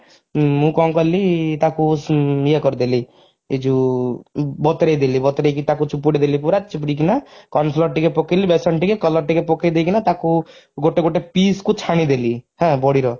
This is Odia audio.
ମୁଁ କଣ କାଲି ତାକୁ ଇଏ କରିଦେଲି ଏଯଉ ବତୁରେଇଦେଲି ବତୁରେଇକି ତାକୁ ଚିପୁଡିଦେଲି ପୁରା ଚିପୁଡିକିନା corn flour ଟିକେ ପକେଇଲି ବେସନ ଟିକେ color ଟିକେ ପକେଇଦେଇକିନା ତାକୁ ଗୋଟେ ଗୋଟେ piece କୁ ଛାଣିଦେଲି ହାଁ ବଡିର